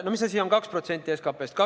No mis asi on 2% SKP-st?